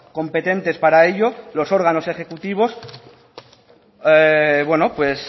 competentes para ello los órganos ejecutivos